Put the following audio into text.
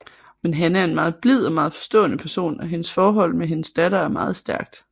Men Hanne er en meget blid og meget forstående person og hendes forhold med hendes datter er meget stærkt